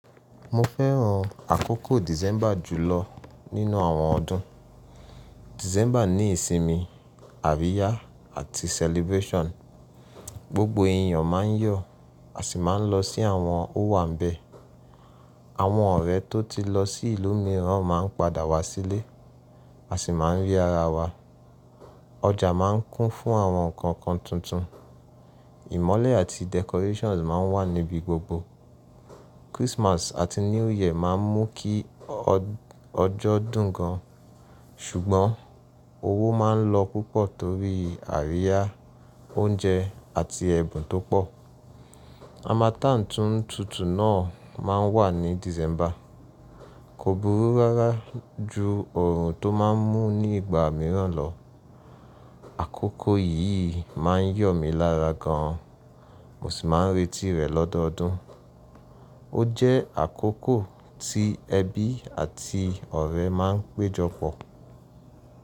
Mo fẹ́ràn àkókò December jùlọ nínú àwọn ọdún. December ní ìsinmi, àríyá àti celebration. Gbogbo èyàn ma n yọ̀, a sì ma n lọ sí àwọn ówanbẹ. Àwọn ọ̀rẹ́ tó ti lọ sí ìlú mìíràn ma n padà wá sílé, a sì ma n rí ara wa. Ọjà ma n kún fún àwọn nǹkankan tuntun. Ìmọ́lẹ̀ àti decorations ma n wà níbi gbogbo. Christmas àti New Year ma n mú kí ọjọ́ dùn gan, ṣùgbọ́n owó ma n lọ púpọ̀ torí àríyá, oúnjẹ àti ẹ̀bùn tó pọ̀. Harmattan to n tutu náà o máa n wà ní December. Kò burú rárá ju oọ̀run tó ma n mú ní ìgbà mìíràn lọ. Àkókò yìí ma n yọ̀ mi lára gan, mo sì ma n retí rẹ̀ lọ́dọọdún. Ó jẹ́ àkókò tí ẹbí àti ọ̀rẹ́ ma n péjọ pọ̀